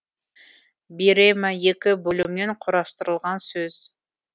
бирема екі бөлімнен кұрастырылған сөз